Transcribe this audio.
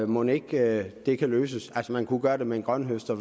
mon ikke det kan løses man kan gøre det med en grønthøster